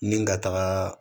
Ni ka taga